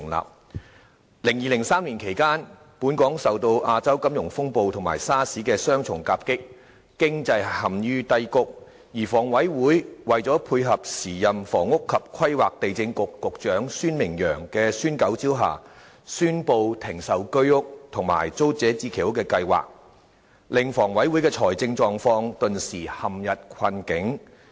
2002年至2003年期間，本港受到亞洲金融風暴和 SARS 的雙重夾擊，經濟陷於低谷，而香港房屋委員會在配合時任房屋及規劃地政局局長孫明揚的"孫九招"下，宣布停售居者有其屋和租者置其屋計劃的公共房屋，令房委會的財政狀況頓時陷入困境。